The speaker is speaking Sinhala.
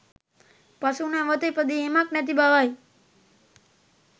පසු නැවැත ඉපදීමක් නැති බවයි.